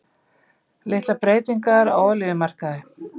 Litlar breytingar á olíumarkaði